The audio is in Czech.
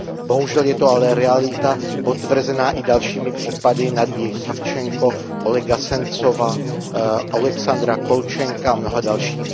Bohužel je to ale realita potvrzená i dalšími případy Nadi Savčenkové, Olega Sencova, Alexandra Kolčenka a mnoha dalšími.